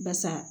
Basa